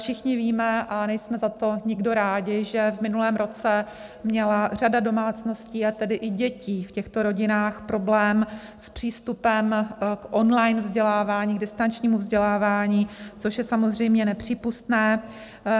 Všichni víme - a nejsme za to nikdo rád - že v minulém roce měla řada domácností, a tedy i dětí v těchto rodinách, problém s přístupem k on-line vzdělávání, distančnímu vzdělávání, což je samozřejmě nepřípustné.